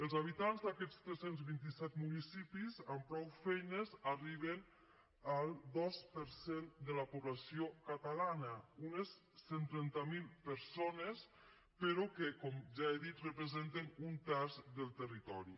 els habitants d’aquests tres cents i vint set municipis amb prou feines arriben al dos per cent de la població catalana unes cent i trenta miler persones però que com ja he dit representen un terç del territori